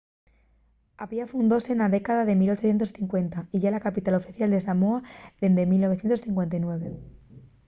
apia fundóse na década de 1850 y ye la capital oficial de samoa dende 1959